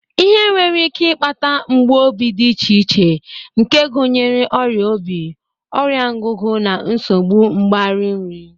Ihe nwere ike ịkpata mgbu obi dị iche iche nke gụnyere ọrịa obi, ọrịa ngụgụ, na nsogbu mgbari nri